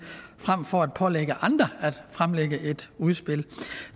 frem for at pålægge andre at fremlægge et udspil